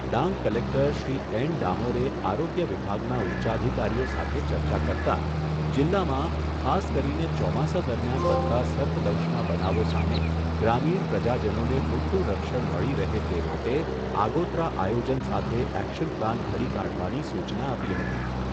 Dang collector Shri N ડામોરે આરોગ્ય વિભાગના ઉચ્ચાધિકારીઓ સાથે ચર્ચા કરતાં, જિલ્લામાં ખાસ કરીને ચોમાસા દરમિયાન બનતા સર્પદંશના બનાવો સામે, ગ્રામીણ પ્રજાજનોને પૂરતું રક્ષણ મળી તે માટે આગોતરા આયોજન સાથે એક્શન પ્લાન ઘડી કાઢવાની સૂચના આપી હતી.